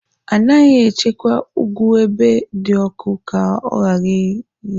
Anaghị echekwa ụgụ ebe dị ọkụ ka ọ ghara ire.